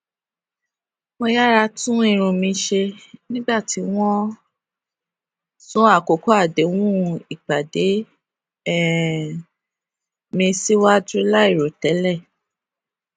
mo yára tún irun mi ṣe nígbà tí wọn sún àkókò àdéhùn ìpàdé um mi síwájú láì rò tẹlẹ